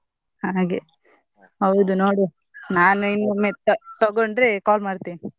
ಹಾಗೆ ಹೌದು ನೋಡುವಾ ನಾನೇ ಇನ್ನೊಮ್ಮೆ ತ~ ತಗೊಂಡ್ರೆ call ಮಾಡ್ತೇನೆ.